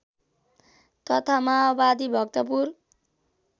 तथा माओवादी भक्तपुर